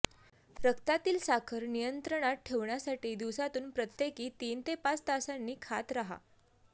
रक्तातील साखर नियंत्रणात ठेवण्यासाठी दिवसातून प्रत्येकी तीन ते पाच तासांनी खात राहा